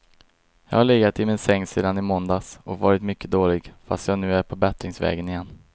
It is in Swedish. Jag har legat i min säng sedan i måndags och varit mycket dålig, fast jag nu är på bättringsvägen igen.